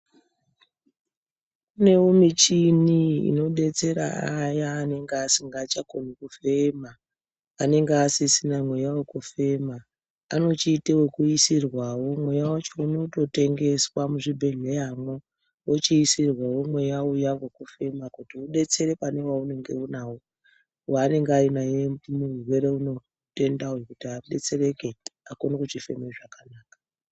Kunewo michini inodetsera vaya vanenge vasikachakoni kufema, anenge asisina mweya wekufema anochiita ekuisirwawo , mweya wacho unotengeswa muzvibhedhleramwo vanotengeserwawo mweya uya wekufema kuti vantu vaone kudetsereka. wanenge ainaye murwere unowu, mutenda unowu kuti akone kudetsereka.